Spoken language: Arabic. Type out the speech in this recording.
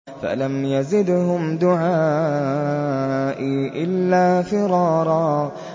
فَلَمْ يَزِدْهُمْ دُعَائِي إِلَّا فِرَارًا